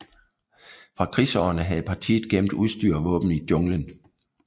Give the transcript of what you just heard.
Fra krigsårene havde partiet gemt udstyr og våben i jungelen